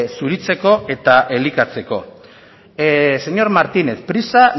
zuritzeko eta elikatzeko señor martínez prisa